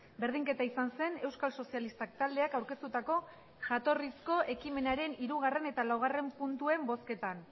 berdinketa izan zen euskal sozialistak taldeak aurkeztutako jatorrizko ekimenaren hirugarren eta laugarren puntuen bozketan